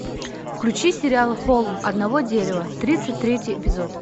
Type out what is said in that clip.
включи сериал холм одного дерева тридцать третий эпизод